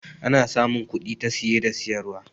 ana samun kudi ta siye da siyarwa